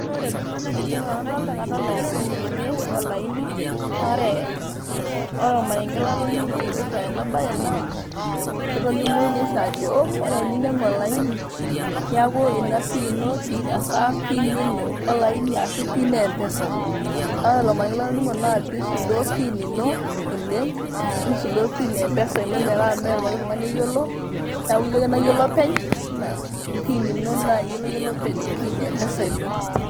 Ore entoki nadolta tene naa kadolta esimu olaini . naa ore ,ore ormarenge latoningo oipirta ena bae naa kitolimuni oshi ajo ore teninyiangu olaini niaku ina siri ino hasa pin ino olain ashu pin empesa. naa ore ormarenke latoningo naa pisudoo pin ino oleng, nisudoo pin empesa metaa mmee poki tungani oyiolo niaku iyie ake nayiolo openy naa iyie ake nayiolo pin empesa ino